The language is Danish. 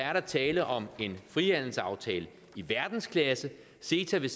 er der tale om en frihandelsaftale i verdensklasse ceta vil